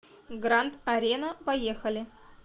гранд арена поехали